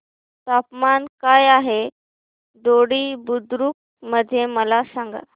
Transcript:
तापमान काय आहे दोडी बुद्रुक मध्ये मला सांगा